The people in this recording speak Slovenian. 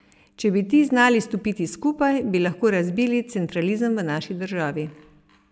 Če bi ti znali stopiti skupaj, bi lahko razbili centralizem v naši državi.